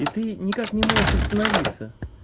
и ты никак не можешь остановиться